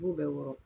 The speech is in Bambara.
B'u bɛɛ wɔɔrɔ